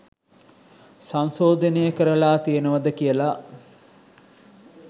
සංශෝධනය කරලා තියෙනවද කියල.